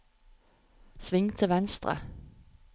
sving til venstre